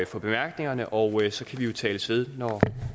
for bemærkningerne og så kan vi jo tales ved når